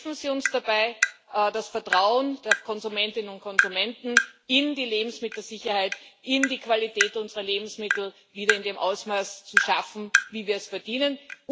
Helfen Sie uns dabei, das Vertrauen der Konsumentinnen und Konsumenten in die Lebensmittelsicherheit, in die Qualität unserer Lebensmittel wieder in dem Ausmaß zu schaffen, wie wir es verdienen!